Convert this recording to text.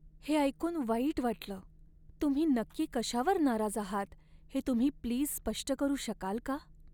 हे ऐकून वाईट वाटलं. तुम्ही नक्की कशावर नाराज आहात हे तुम्ही प्लीज स्पष्ट करू शकाल का?